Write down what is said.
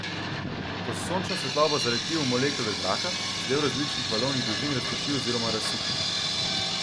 Ko se sončna svetloba zaleti v molekule zraka, se del različnih valovnih dolžin razprši oziroma razsipa.